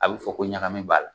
A bɛ fɔ ko ɲagami b'a la